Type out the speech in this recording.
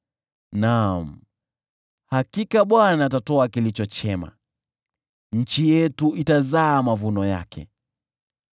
Naam, hakika Bwana atatoa kilicho chema, nayo nchi yetu itazaa mavuno yake.